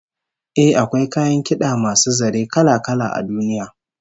Eh, akwai kayan kid'a masu zare kala-kala a duniya